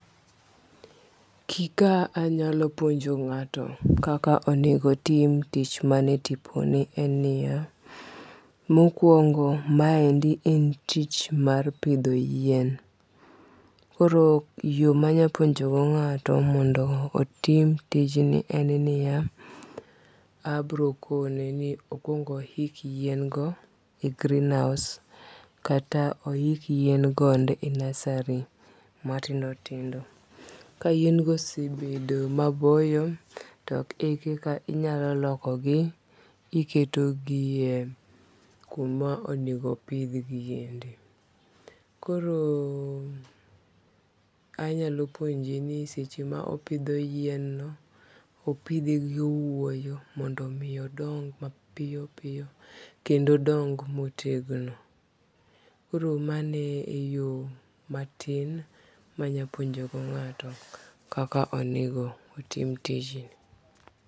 Kika anyalo puonjo ng'ato kaka onego tim tich mane tiponi en niya, mokwongo ma endi en tich mar pidho yien. Koro yo manya puonjo go ng'ato mondo otim tijni en niya, abiro kone ni okwong ohik yien go e greenhouse kata ohik yien go eko e nursery matindo tindo. Ka yien go osebedo maboyo to ekaka inyalo loko gi kiketo gie kuma onego pidh gi endi. Koro anyalo puonje ni seche ma opidho yien no, opidhe gi owuoyo mondo mi odong mapiyo piyo kendo odong motegno. Koro mano e yo matin manya puonjo go ngato kaka onego tim tijniu.